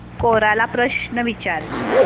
कोरा ला प्रश्न विचार